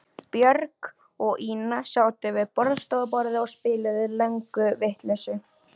Björg og Ína sátu við borðstofuborðið og spiluðu lönguvitleysu.